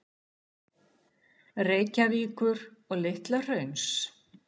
Reykjavíkur og Litla-Hrauns.